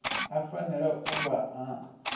a fanela u vha a